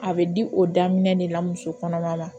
A bɛ o daminɛ de la muso kɔnɔma la